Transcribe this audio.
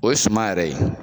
O ye suma yɛrɛ ye